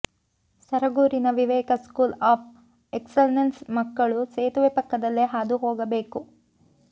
ಸರಗೂರಿನ Viveka school of ಎಕ್ಸಲೆನ್ಸ್ನ ಮಕ್ಕಳು ಸೇತುವೆ ಪಕ್ಕದಲ್ಲೇ ಹಾದು ಹೋಗಬೇಕು